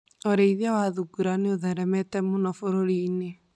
Ũrĩithia wa thungura nĩ ũtheremete mũno bũrũri-inĩ.